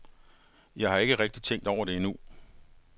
Jeg har ikke rigtig tænkt over det endnu.